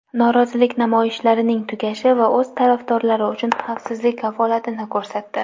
norozilik namoyishlarining tugashi va o‘z tarafdorlari uchun xavfsizlik kafolatini ko‘rsatdi.